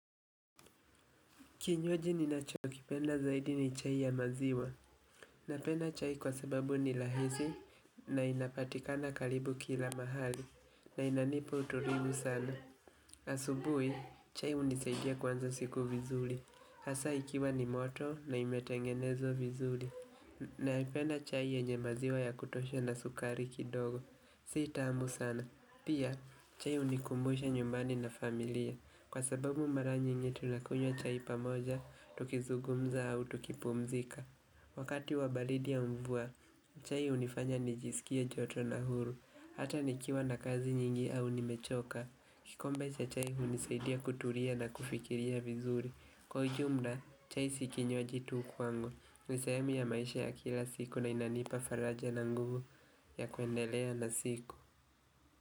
Kinywaji ninacho kipenda zaidi ni chai ya maziwa. Napenda chai kwa sababu ni rahisi na inapatikana karibu kila mahali na inanipa utulivu sana. Asubuhi, chai hunisaidia kuanza siku vizuri Hasa ikiwa ni moto na imetengenezwa vizuri Naipenda chai yenye maziwa ya kutosha na sukari kidogo. Si taamu sana. Pia, chai hunikumbusha nyumbani na familia. Kwa sababu mara nyingi tunakunywa chai pamoja, tukizungumza au tukipumzika Wakati wa baridi au mvua, chai hunifanya nijisikie joto na huru Hata nikiwa na kazi nyingi au nimechoka kikombe cha chai hunisaidia kutulia na kufikiria vizuri Kwa ujumla, chai si kinywaji tu kwangu. Ni sehemu ya maisha ya kila siku na inanipa faraja na nguvu ya kuendelea na siku.